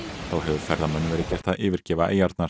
þá hefur ferðamönnum verið gert að yfirgefa eyjarnar